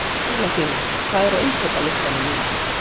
Ólafína, hvað er á innkaupalistanum mínum?